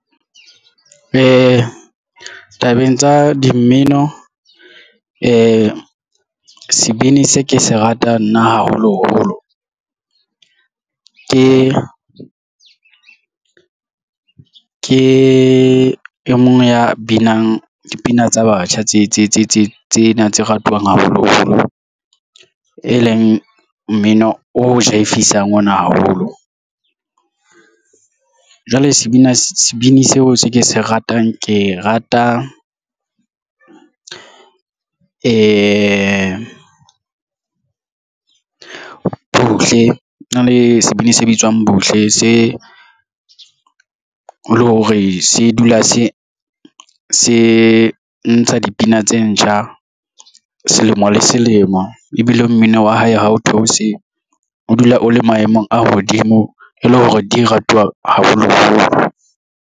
Ee, tabeng tsa di mmino sebini se ke se ratang nna haholoholo ke e mong ya binang dipina tsa batjha tse tsena tse ratwang haholoholo e leng mmino o jaefisa ona haholo. Jwale sebini seo se ke se ratang ke rata Buhle na le sebini se bitswang Buhle se le hore se dula se ntsha dipina tse ntjha selemo le selemo ebile mmino wa hae ha o theose o dula o le maemong a hodimo e le hore di ratuwa haholoholo.